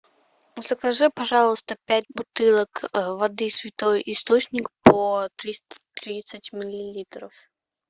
закажи пожалуйста пять бутылок воды святой источник по триста тридцать миллилитров